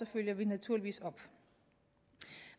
følger vi naturligvis op